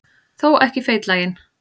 Þó ekki feitlaginn.